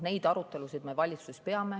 Neid arutelusid me valitsuses peame.